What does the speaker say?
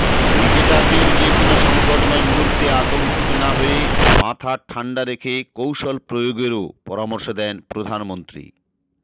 ক্রিকেটারদরে যেকোনো সঙ্কটময় মুহূর্তে আতঙ্কিত না হয়ে মাথা ঠান্ডা রেখে কৌশল প্রয়োগেরও পরামর্শ দেন প্রধানমন্ত্রী